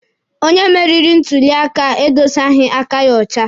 Onye meriri na ntuli aka edosaghi aka ya ọcha.